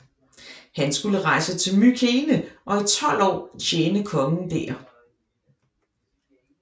Han skulle rejse til Mykene og i 12 år tjene kongen der